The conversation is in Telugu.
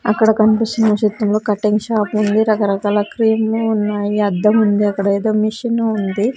అక్కడ కనిపిస్తున్న చిత్రంలో కటింగ్ షాప్ ఉంది రకరకాల క్రీములు ఉన్నాయి అద్దం ఉంది అక్కడ ఏదో మిషన్ ఉంది.